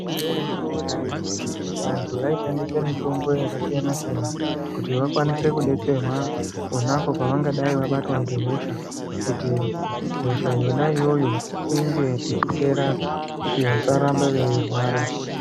Mwaizviziya ere kuti karetu vantu vaishandisa mitombo yakasiyana-siyana kuti vakwanise kudetserwa ponapo pavangadai vabatwa ngehosha kuti hosha yona iyoyo inge ichipera kuti vasarambe veirwara.